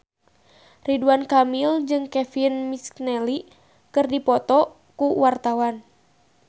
Ridwan Kamil jeung Kevin McNally keur dipoto ku wartawan